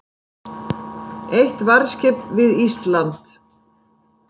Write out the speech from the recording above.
Eitt varðskip við Ísland